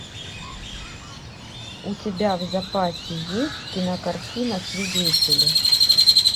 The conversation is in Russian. у тебя в запасе есть кинокартина свидетели